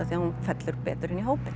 því hún fellur betur inn í hópinn